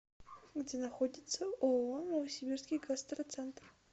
где находится ооо новосибирский гастроцентр